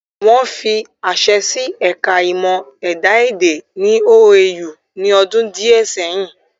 Wọ́n fi àṣẹ sí ẹ̀ka ìmọ̀ ẹ̀dá-èdè ní OAU ní ọdún díẹ̀ ẹyìn